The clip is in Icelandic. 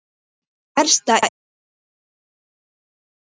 Það versta er þó ótalið.